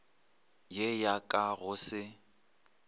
ye ya ka go se